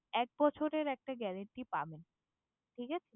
এক বছরের একটা ওয়ারেন্টি পাবেন ঠিক আছে